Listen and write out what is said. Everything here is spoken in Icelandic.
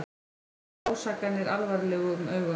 Líta ásakanir alvarlegum augum